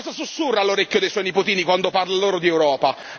Cosa sussurra all'orecchio dei suoi nipotini quando parla loro di Europa?